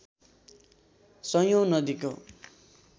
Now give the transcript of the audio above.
सयोैँ नदीको